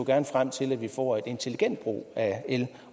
gerne frem til at vi får en intelligent brug af el